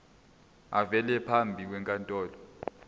avele phambi kwenkantolo